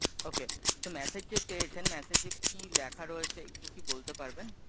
okay তো message যে পেয়েছেন message এ কি লেখা রয়েছে? একটু কি বলতে পারবেন?